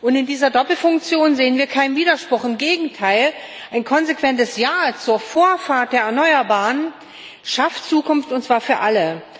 Und in dieser Doppelfunktion sehen wir keinen Widerspruch, im Gegenteil Ein konsequentes Ja zur Vorfahrt der Erneuerbaren schafft Zukunft, und zwar für alle.